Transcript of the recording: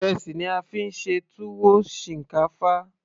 ìrẹsì ni a fí ń ṣe tuwo shinkafa